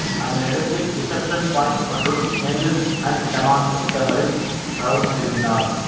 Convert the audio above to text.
அதனையடுத்து Deception Point மற்றும் Angels and Demons புத்தகங்களை Brown எழுதினார்